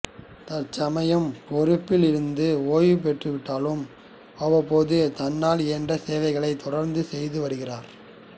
தற்சமயம் பொறுப்பில் இருந்து ஓய்வு பெற்று விட்டாலும் அவ்வப்போது தன்னால் இயன்ற சேவைகளைத் தொடர்ந்து செய்து வருகிறார்